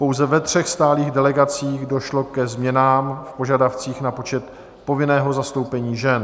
Pouze ve třech stálých delegacích došlo ke změnám v požadavcích na počet povinného zastoupení žen: